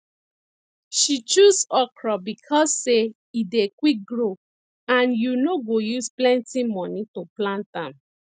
she choose okro becos say e dey quick grow and you no go use plenty money to plant am